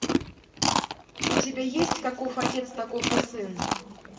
у тебя есть каков отец таков и сын